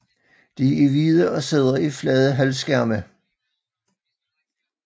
De er hvide og sidder i flade halvskærme